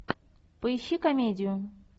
поищи комедию